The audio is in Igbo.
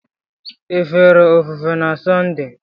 Ị fere ofufe na Sọnde?